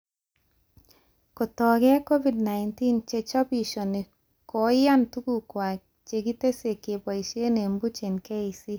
Kotokee Covid-19 chechobishoni koyani tuguk kwai chekitesyi keboishee eng boch eng KEC